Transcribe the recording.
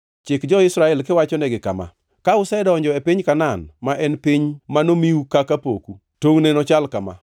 “Chik jo-Israel kiwachonegi kama: Ka usedonjo e piny Kanaan, ma en piny manomiu kaka poku, tongʼne nochal kama: